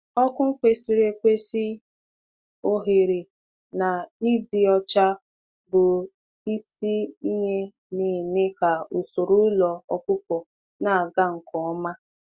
Ùkụ kwesịrị ịdị mma, ebe a ga-anọ dị ya, na ịdị ọcha bụ ntọala nke ụlọ zụ anụ ọkụkọ ga-aga nke ọma.